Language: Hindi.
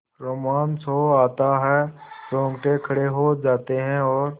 रोमांच हो आता है रोंगटे खड़े हो जाते हैं और